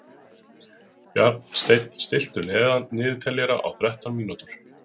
Bjarnsteinn, stilltu niðurteljara á þrettán mínútur.